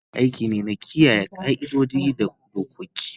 Biyayya aiki ne na kiyaye ƙa'idodi da dokoki.